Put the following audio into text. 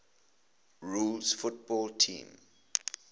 rules football teams